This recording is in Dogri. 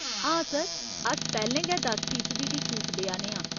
हां, सर। अस पैह्‌लें गै दस फीसदी दी छूट देआ ने आं।